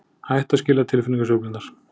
Hætt að skilja tilfinningasveiflurnar.